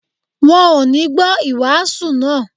Wọ́n ò ní gbọ́ ìwàásù náà